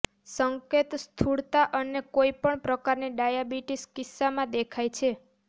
સંકેત સ્થૂળતા અને કોઇ પણ પ્રકારની ડાયાબિટીસ કિસ્સામાં દેખાય છે